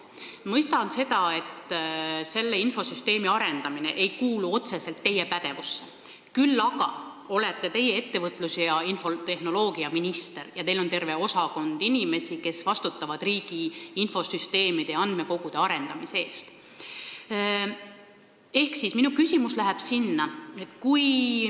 Ma mõistan seda, et selle infosüsteemi arendamine ei kuulu otseselt teie pädevusse, kuid te olete ettevõtlus- ja infotehnoloogiaminister ja teil on terve osakond inimesi, kes vastutavad riigi infosüsteemide ja andmekogude arendamise eest.